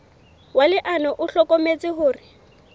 wa leano o hlokometse hore